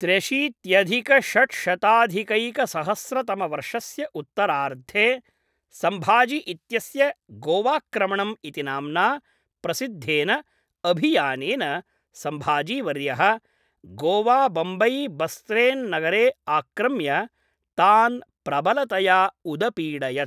त्र्यशीत्यधिकषड्शताधिकैकसहस्रतमवर्षस्य उत्तरार्धे, सम्भाजि इत्यस्य गोवाक्रमणम् इति नाम्ना प्रसिद्धेन अभियानेन सम्भाजीवर्यः गोवाबम्बैबस्सेन्नगरे आक्रम्य तान् प्रबलतया उदपीडयत्।